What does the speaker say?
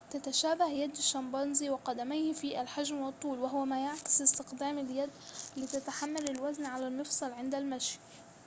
تتشابه يد الشمبانزي وقدميه في الحجم والطول وهو ما يعكس استخدام اليد لتحمل الوزن على المفصل عند المشي